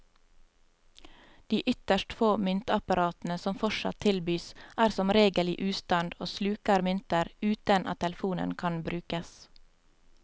De ytterst få myntapparatene som fortsatt tilbys, er som regel i ustand og sluker mynter uten at telefonen kan brukes.